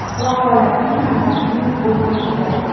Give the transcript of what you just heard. Vaholanki, hammasining o‘z o‘rni bor.